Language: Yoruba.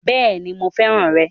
Béèni mo fẹ́ràn rè